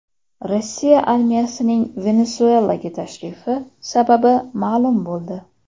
Rossiya armiyasining Venesuelaga tashrifi sababi ma’lum bo‘ldi.